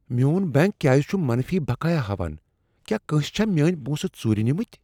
میون بینٛک کیٛاز چُھ منفی بقایا ہاوان ؟ کیٛاہ کٲنٛسہ چھا میٲنۍ پونٛسہٕ ژُورِ نیمٕتِۍ ۔